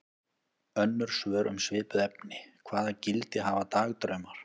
Önnur svör um svipuð efni: Hvaða gildi hafa dagdraumar?